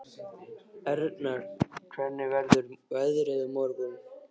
Erna, hvernig verður veðrið á morgun?